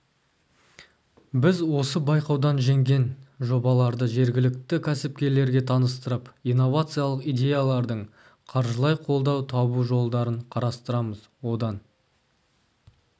біз осы байқаудан жеңген жобаларды жергілікті кәсіпкерлерге таныстырып инновациялық идеялардың қаржылай қолдау табу жолдарын қарастырамыз одан